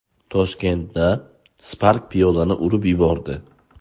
Toshkentda Spark piyodani urib yubordi.